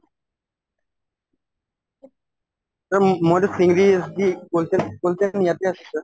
এতিয়া ম্ম মইতো